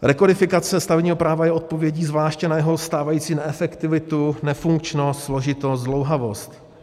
Rekodifikace stavebního práva je odpovědí zvláště na jeho stávající neefektivitu, nefunkčnost, složitost, zdlouhavost.